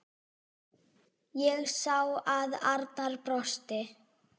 Ég sá að Arnar brosti.